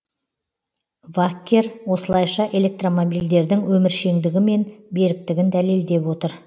ваккер осылайша электромобильдердің өміршеңдігі мен беріктігін дәлелдеп отыр